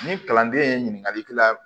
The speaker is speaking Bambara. Ni kalanden ye ɲininkali k'i la